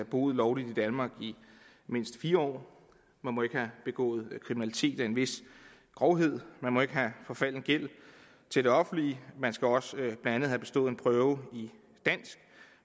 boet lovligt i danmark i mindst fire år man må ikke have begået kriminalitet af en vis grovhed man må ikke have forfalden gæld til det offentlige man skal også blandt andet have bestået en prøve i dansk